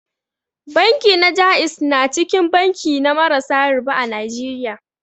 Banki na ja'iz na cikin banki na marasa riba a Najeriya.